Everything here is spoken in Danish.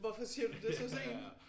Hvorfor siger du det så sent?